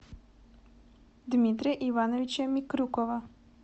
дмитрия ивановича микрюкова